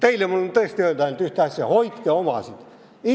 Teile ma võin tõesti öelda ainult ühte asja: hoidke omasid!